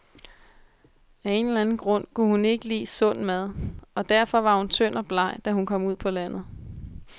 Af en eller anden grund kunne hun ikke lide sund mad, og derfor var hun tynd og bleg, da hun kom ud på landet.